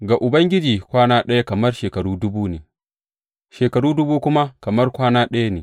Ga Ubangiji kwana ɗaya kamar shekaru dubu ne, shekaru dubu kuma kamar kwana ɗaya ne.